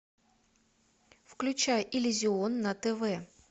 включай иллюзион на тв